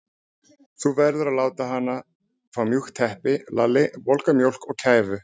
Þú verður að láta hana fá mjúkt teppi, Lalli, volga mjólk og kæfu.